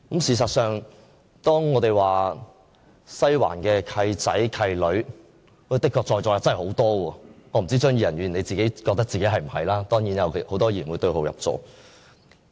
事實上，當我們說"西環契仔契女"，在座的確有很多，我不知道張宇人議員是否覺得自己是其中之一，當然有很多議員會對號入座。